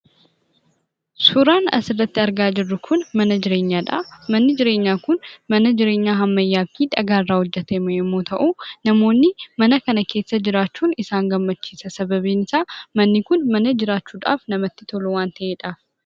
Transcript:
Suuraan asirratti argaa jirru kun mana jireenyaadha. Manni jireenyaa kun mana jireenyaa ammayyaa fi dhagaarraa hojjatame yommuu ta'u, namoonni mana kana keessa jiraachuu isaan gammachiisa. Sababiin isaas manni kun bakka jiraachuuf mijataa waan ta'eefidha.